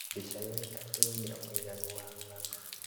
Mbica yoika ti wũira mũiganu wa rũgano